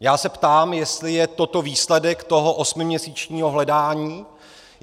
Já se ptám, jestli je toto výsledek toho osmiměsíčního hledání.